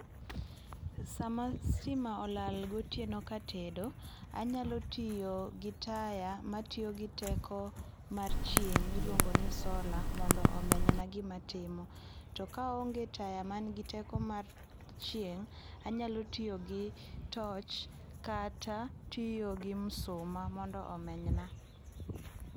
Sama stima olal gotieno ka atedo, anyalo tiyo gi taya matiyo gi teko mar chieng' miluongo ni solar mondo omenyna gima atimo to ka aonge taya man gi teko mar chieng anyalo tiyo gi torch kata tiyo gi msuma mondo omenyna